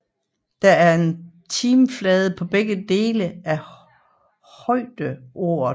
Der er en trimflade på begge dele af højderoret